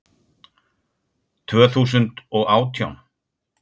Tvö þúsund og átján